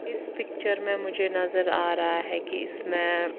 इस पिक्चर में मुझे नज़र आरा है की इसमें--